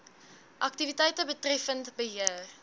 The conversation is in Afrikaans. aktiwiteite betreffend beheer